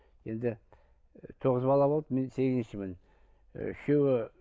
енді тоғыз бала болды мен сегізіншімін ы үшеуі